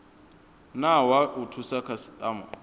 na wa u thusa khasitama